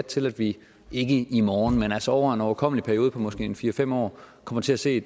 til at vi ikke i morgen men altså over en overkommelig periode på måske fire fem år kommer til at se